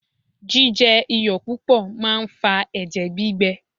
Jíjẹ iyọ̀ púpọ̀ máa ń fa ẹ̀jẹ̀ gbígbẹ.